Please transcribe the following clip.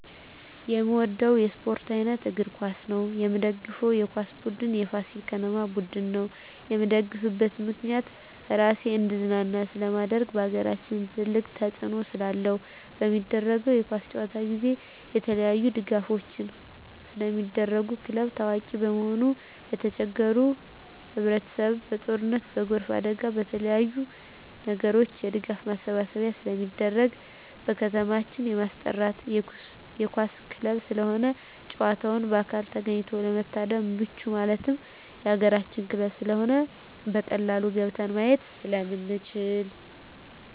የምወደው የስፓርት አይነት እግር ኳስ ነው። የምደግፈው የኳስ ቡድን የፋሲል ከነማ ቡድን ነው። የምደግፍበት ምክንያት ራሴን እንዳዝናና ስለማደርግ በአገራችን ትልቅ ተፅዕኖ ስላለው። በሚደረገው የኳስ ጨዋታ ጊዜ የተለያዪ ድጋፎች ስለሚደረጉ ክለቡ ታዋቂ በመሆኑ የተቸገሩ ህብረቸሰብ በጦርነት በጎርፍ አደጋ በተለያዪ ነገሮች የድጋፍ ማሰባሰቢያ ስለሚደረግ። በከተማችን የማስጠራ የኳስ ክለብ ስለሆነ ጨዋታውን በአካል ተገኝቶ ለመታደም ምቹ ማለት የአገራችን ክለብ ስለሆነ በቀላሉ ገብተን ማየት ስለምንችል።